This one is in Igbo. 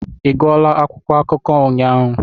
Ị gụọla akwụkwọ akụkọ ụnyaahụ?